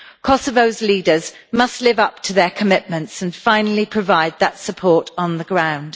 Kosovo's leaders must live up to their commitments and finally provide that support on the ground.